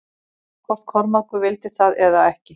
Sama hvort Kormákur vildi það eða ekki.